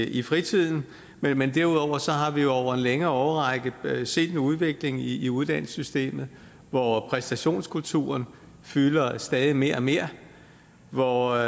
i fritiden men men derudover har vi jo over en længere årrække set en udvikling i i uddannelsessystemet hvor præstationskulturen fylder stadig mere og mere og